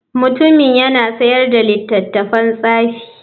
Mutumin yana sayar da littattafan tsafi.